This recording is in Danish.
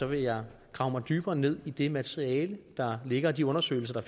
vil jeg grave mig dybere ned i det materiale der ligger og de undersøgelser